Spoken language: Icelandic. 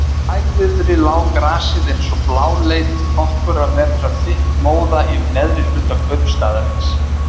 Í hægviðri lá gasið eins og bláleit nokkurra metra þykk móða yfir neðri hluta kaupstaðarins.